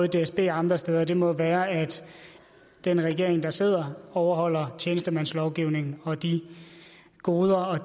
dsb og andre steder må jo være at den regering der sidder overholder tjenestemandslovgivningen og de goder og